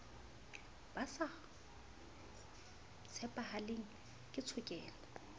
ba sa tshepahaleng ke tshokelo